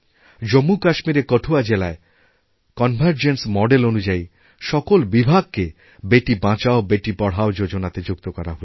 জম্মুকাশ্মীরের কঠুয়া জেলায় convergence model অনুযায়ীসকল বিভাগকে বেটি বাঁচাও বেটি পড়াও যোজনাতে যুক্ত করা হয়েছে